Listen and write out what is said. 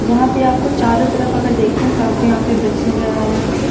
यहां पे आपको चारों तरफ अगर देखते हैं तो आपको यहां पे बच्चे नजर आ रहे होंगे।